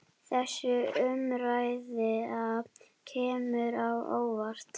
Þessi umræða kemur á óvart.